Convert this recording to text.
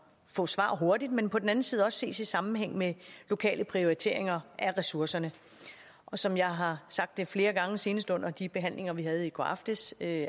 få svar hurtigt men på den anden side også ses i sammenhæng med lokale prioriteringer af ressourcerne som jeg har sagt flere gange senest under de behandlinger vi havde i går aftes af